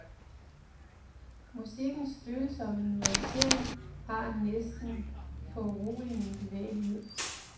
Musikkens følsomme nuancering har en næsten foruroligende bevægelighed.